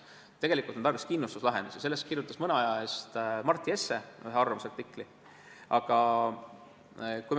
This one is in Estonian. Tegelikult on tarvis kindlustuslahendusi, sel teemal kirjutas mõne aja eest ühe arvamusartikli Mart Jesse.